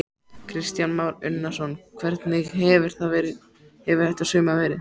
Kristján Már Unnarsson: Hvernig hefur þetta sumar verið?